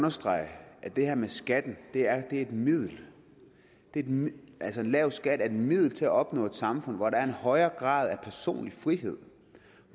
understrege at det her med skatten er et middel en lav skat er et middel til at opnå et samfund hvor der er en højere grad af personlig frihed